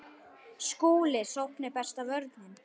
SKÚLI: Sókn er besta vörnin.